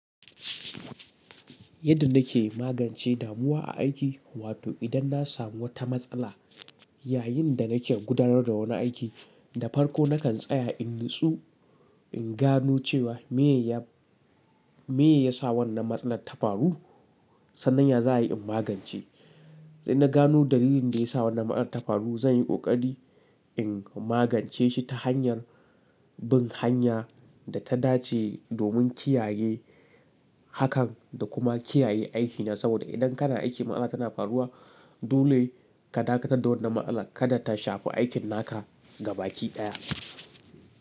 Yadda nake magance damuwa a aiki wato idan na samu wata matsala yayin da nake gudanar da wani aiki, da farko nakan tsaya in nitsu in gano cewa me ya, me ya sa wannan matsalar ta faru sannan ya za ayi in magance. Sai na gano dalilin da ya sa wannan matsalar ta faru zan yi ƙoƙari in magance shi ta hanyar bin hanya da ta dace domin kiyaye hakan da kuma kiyaye aikina saboda idan kana aiki matsala tana faruwa dole ka dakata da wannan matsana kada ta shafi aikin naka gabaki ɗaya.